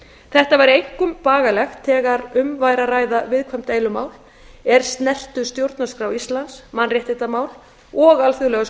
þetta væri einkum bagalegt þegar um væri að ræða viðkvæm deilumál er snertu stjórnarskrá íslands mannréttindamál og alþjóðlegar